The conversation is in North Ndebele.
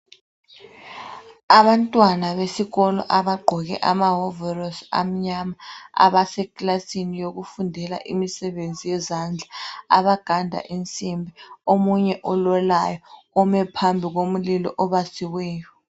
abantwana besikolo abagqoke amawovorosi amnyama abasekilasini yokufundela imisebenzi yezandla abaganda insimbi omunye ololayo ume phambi komlilo obasiweyo